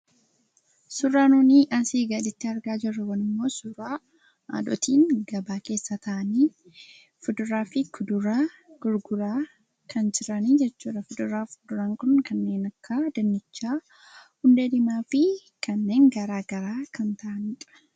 Suuraan asi gaditti argaa jirru kun, suuraa haadhooliin gabaa keessa taa'aani, kuduraa fi muduraa gurguraa kan jirani jechuudha. kuduraaf muduraan kun, kanneen akka dinnicha, hundee diimaa fi kanneen garaagaraa kan ta'anidha.